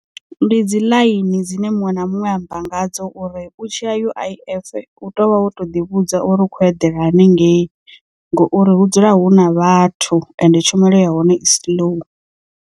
Ndi dzi ḽaini dzine muṅwe na muṅwe a amba nga dzo uri u tshi a U_I_F u tea u tou vha wo to ḓi vhudza uri u khou eḓela hanengei ngouri hu dzula hu na vhathu ende tshumelo ya hone i slow.